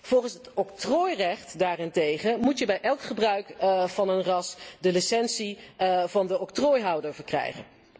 Volgens het octrooirecht daarentegen moet je bij elk gebruik van een ras de licentie van de octrooihouder verkrijgen.